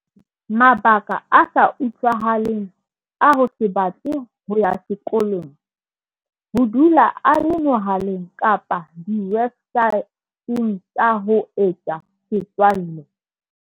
Mabaka a sa utlwahaleng a ho se batle ho ya sekolong. Ho dula a le mohaleng kapa diwebsae teng tsa ho etsa setswalle.